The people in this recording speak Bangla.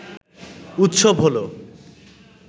উৎসব হলো